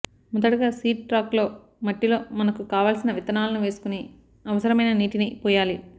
మొదటగా seed track లో మట్టిలో మనకు కావల్సిన విత్తానలను వేసుకొని అవసరమైన నీటిని పోయాలి